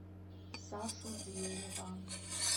сашу зверева